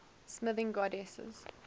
smithing goddesses